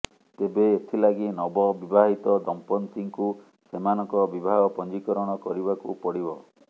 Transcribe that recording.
ତେବେ ଏଥିଲାଗି ନବ ବିବାହିତ ଦମ୍ପତ୍ତିଙ୍କୁ ସେମାନଙ୍କ ବିବାହ ପଞ୍ଜିକରଣ କରିବାକୁ ପଡିବ